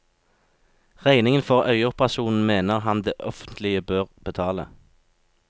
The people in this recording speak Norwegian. Regningen for øyeoperasjonen mener han det offentlige bør betale.